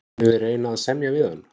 Munum við reyna að semja við hann?